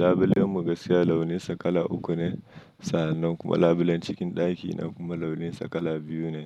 Labulen mu gaskiya launinsa kala uku ne sannan kuma labulen cikin ɗakina kuma launinsa kala biyu ne.